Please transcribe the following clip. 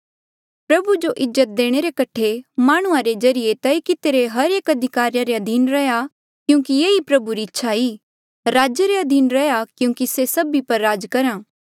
प्रभु जो इज्जत देणे रे कठे माह्णुंआं रे ज्रीए तय कितिरे हर एक अधिकारिया रे अधीन रैहया क्यूंकि ये ही प्रभु री इच्छा ई राजे रे अधीन रैहया क्यूंकि से सभी पर राज करहा